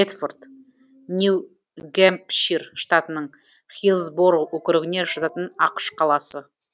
бэдфорд нью гэмпшир штатының хиллсбороу округіне жататын ақш қаласы